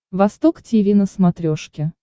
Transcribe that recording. восток тиви на смотрешке